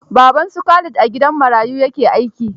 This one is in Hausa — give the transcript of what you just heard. Baban su Khalid a gidan marayu ya ke aiki